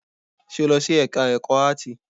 Ṣe o lọ sí ẹka ẹ̀kọ́ áàtì?